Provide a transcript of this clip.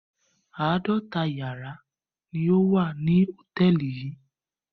Àádọ́ta ìyàrá ni ó wà ní hòtẹ́ẹ́lì yìí.